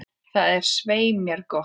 Það er svei mér gott.